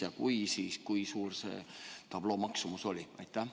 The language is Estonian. Ja kui oli, siis kui suur see tabloo maksumus oli?